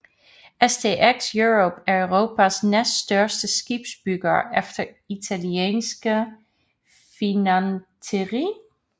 STX Europe er Europas næststørste skibsbygger efter italienske Fincantieri